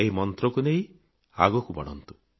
ଏହି ମନ୍ତ୍ରକୁ ନେଇ ଆଗକୁ ବଢନ୍ତୁ